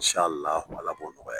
Saa laahu, ala k'o sɔrɔli nɔgɔya n ye.